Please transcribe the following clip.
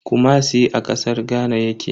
Kumasi a kasar Ghana yake.